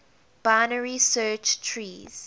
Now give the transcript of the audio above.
binary search trees